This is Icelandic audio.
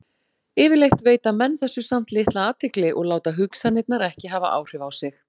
Yfirleitt veita menn þessu samt litla athygli og láta hugsanirnar ekki hafa áhrif á sig.